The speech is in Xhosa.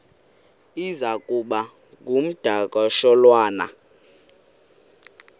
iza kuba ngumdakasholwana